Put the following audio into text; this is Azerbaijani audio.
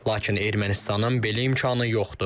Lakin Ermənistanın belə imkanı yoxdur.